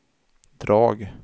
drag